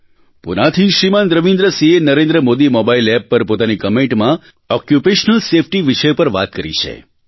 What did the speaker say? પૂનાથી શ્રીમાન રવીન્દ્ર સિંહે Narendra Modi mobile app પર પોતાની કમેન્ટમાં ઓક્યુપેશનલ સેફ્ટી વિષય પર વાત કરી છે